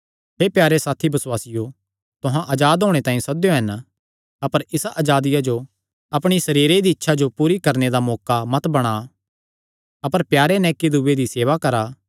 हे प्यारे साथी बसुआसियो तुहां अजाद होणे तांई सद्देयो हन अपर इसा अजादिया जो अपणी सरीरे दी इच्छा जो पूरी करणे दा मौका मत बणा अपर प्यारे नैं इक्की दूये दी सेवा करा